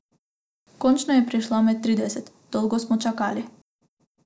Končno je prišla med trideset, dolgo smo čakali.